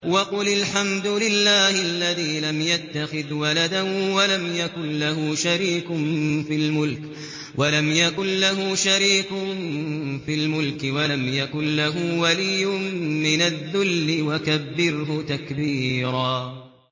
وَقُلِ الْحَمْدُ لِلَّهِ الَّذِي لَمْ يَتَّخِذْ وَلَدًا وَلَمْ يَكُن لَّهُ شَرِيكٌ فِي الْمُلْكِ وَلَمْ يَكُن لَّهُ وَلِيٌّ مِّنَ الذُّلِّ ۖ وَكَبِّرْهُ تَكْبِيرًا